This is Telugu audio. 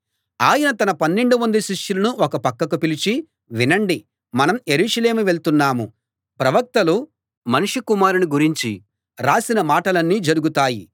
ఆయన తన పన్నెండు మంది శిష్యులను ఓ పక్కకు పిలిచి వినండి మనం యెరూషలేము వెళ్తున్నాం ప్రవక్తలు మనుష్య కుమారుణ్ణి గురించి రాసిన మాటలన్నీ జరుగుతాయి